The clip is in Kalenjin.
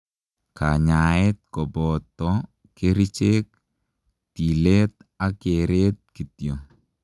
Kanyaaet kopotoo kerichek, tileet ak kereet kityo